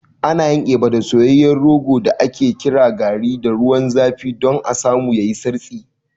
Ana yin Eba da soyayyen rogo da ake kira garri da ruwan zafi don a samu yayi santsi.